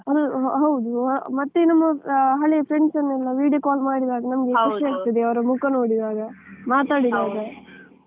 How~ ಹೌದು ಮತ್ತೆ ನಮ್ಮ ಹಳೆ friends ಎಲ್ಲ video call ಮಾಡಿದಾಗ ನಮ್ಗೆ ಖುಷಿ ಆಗ್ತದೆ ಅವರ ಮುಖ ನೋಡಿದಾಗ, ಮಾತಾಡಿದಾಗ.